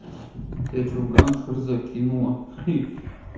течь афган что ли закинуло